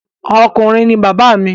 Ọkùnrin ni bàbá mi.